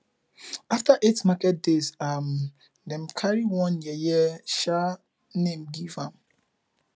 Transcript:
after eight market days um dem carry one yeye um name give am